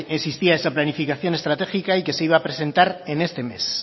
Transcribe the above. existía esta planificación estratégica y que se iba a presentar en este mes